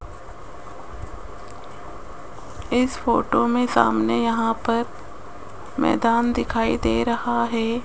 इस फोटो में सामने यहां पर मैदान दिखाई दे रहा है।